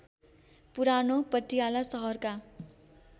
पुरानो पटियाला सहरका